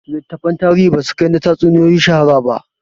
Littattafan tarihi ba su kai na tatsuniyoyi shahara ba